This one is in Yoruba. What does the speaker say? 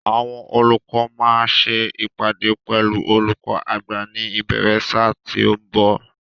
Àwọn olùkọ́ máa ṣe ìpàdé pẹ̀lú olùkó àgbà ní ìbéèrè ṣáà tí ó ń bọ̀.